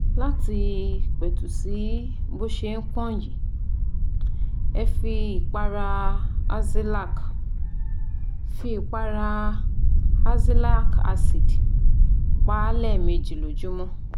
Láti pètù sí bó ṣe pọ́n yìí, ẹ fi ìpara Azelaic fi ìpara Azelaic acid pa á lẹ́ẹ̀mejì lójúmọ́